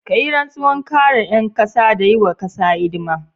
Ka yi rantsuwar kare 'yan kasa da yi wa kasa hidima.